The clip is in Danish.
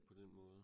På den måde